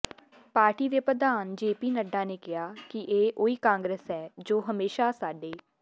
party ਦੇ ਪ੍ਰਧਾਨ ਜੇਪੀ ਨੱਡਾ ਨੇ ਕਿਹਾ ਕਿ ਇਹ ਉਹੀ ਕਾਂਗਰਸ ਹੈ ਜੋ ਹਮੇਸ਼ਾ ਸਾਡ